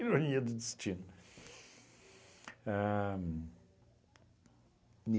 Ironia do destino. Ahn